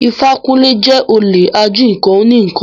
Ifákúnlé jẹ́ olè ají nǹkan oní ǹkan